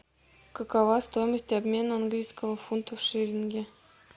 какова стоимость обмена английского фунта в шиллинги